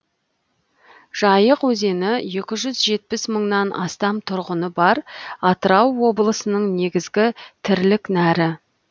жайық өзені екі жүз жетпіс мыңнан астам тұрғыны бар атырау облысының негізгі тірлік нәрі